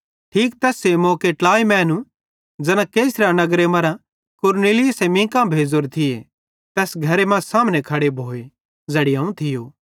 ठीक तैस्से मौके ट्लाई मैनू ज़ैना कैसरिया नगरे मरां कुरनुलियुसे मींका भेज़ोरे थिये तैस घरे कां सामने खड़े भोए ज़ैड़ी अवं थियो